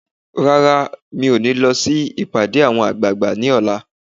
Rárá, mí ò ní lọ sí ìpàdé àwọn àgbààgbà ní ọ̀la